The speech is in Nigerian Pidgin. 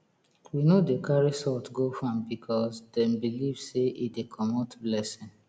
we no dey carry salt go farm because dem believe sey e dey comot blessing